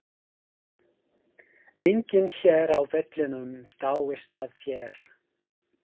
Enginn hér á vellinum dáist að þér.